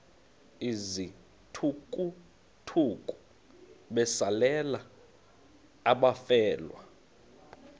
izithukuthuku besalela abafelwa